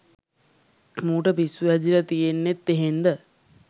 මූට පිස්සු හැදිල තියන්නෙත් එහෙන්ද?